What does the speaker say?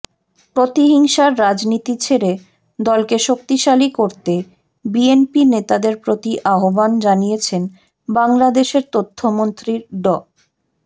প্রতিহিংসার রাজনীতি ছেড়ে দলকে শক্তিশালী করতে বিএনপি নেতাদের প্রতি আহ্বান জানিয়েছেন বাংলাদেশের তথ্যমন্ত্রী ড